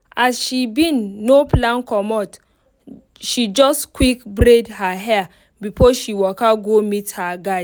as she bin no plan comot she just quick braid her hair before she waka go meet her guy.